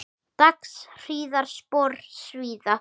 Dags hríðar spor svíða.